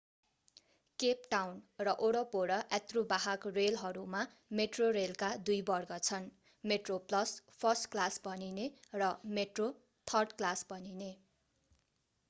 Cape Town र वरपर यात्रुवाहक रेलहरूमा मेट्रोरेलका दुई वर्ग छन्: मेट्रोप्लस फर्स्ट क्लास भनिने र मेट्रो थर्ड क्लास भनिने।